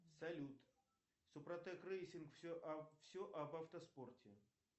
салют супротек рейсинг все об автоспорте